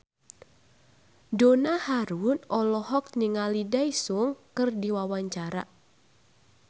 Donna Harun olohok ningali Daesung keur diwawancara